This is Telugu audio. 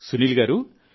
సునీల్ గారూ